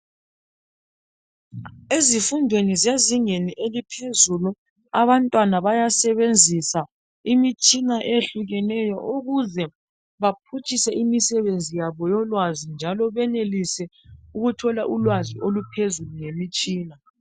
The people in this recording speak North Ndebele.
Ezifundweni zezingeni eliphezulu abantwana bayasebenzisa imitshina eyehlukeneyo ukuze baphutshise imisebenzi yabo yolwazi njalo benelise ukuthola ulwazi oluphezulu ngemitshina.